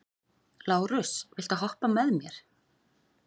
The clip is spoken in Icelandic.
Lárus, viltu hoppa með mér?